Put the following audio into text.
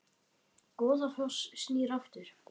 Goðafoss snýr aftur